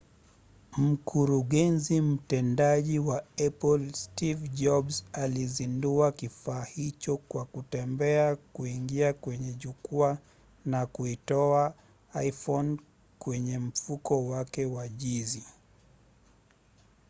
mkurugenzi mtendaji wa apple steve jobs alizindua kifaa hicho kwa kutembea kuingia kwenye jukwaa na kuitoa iphone kwenye mfuko wake wa jinzi